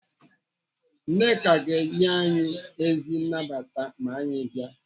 Nneka ga-enye anyị ezi nnabata ma anyị bịa.